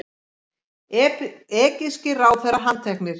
Egypskir ráðherrar handteknir